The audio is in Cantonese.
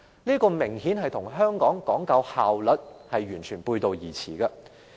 這明顯與香港講究效率的做法完全背道而馳。